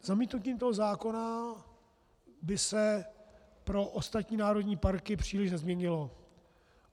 Zamítnutím toho zákona by se pro ostatní národní parky příliš nezměnilo.